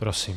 Prosím.